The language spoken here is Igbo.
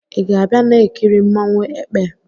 Ị ga-abịa na-ekiri nmanwu "ekpe"?